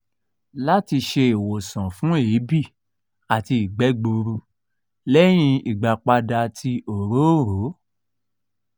lati ṣe iwosan fun eebi ati igbe gburu lẹhin igbapada ti orooro?